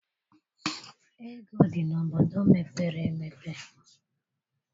Ego dị n'obodo mepere emepe.